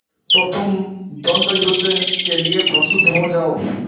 तो तुम द्वंद्वयुद्ध के लिए प्रस्तुत हो जाओ